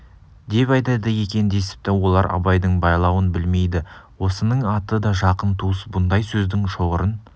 деп айтады екен десіпті олар абайдың байлауын білмейді осының аты да жақын туыс бұндай сөздің шоғырын